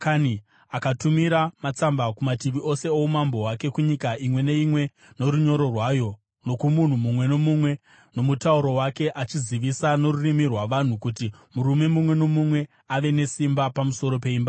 Akatumira matsamba kumativi ose oumambo hwake, kunyika imwe neimwe norunyoro rwayo nokumunhu mumwe nomumwe nomutauro wake achizivisa norurimi rwavanhu kuti murume mumwe nomumwe ave nesimba pamusoro peimba yake.